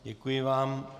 Děkuji vám.